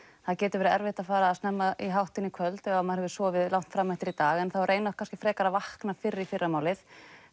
það getur verið erfitt að fara snemma í háttinn í kvöld ef maður hefur sofið lengi fram eftir í dag en þá reyna kannski að vakna fyrr í fyrramálið